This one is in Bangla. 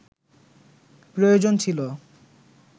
প্রয়োজন ছিল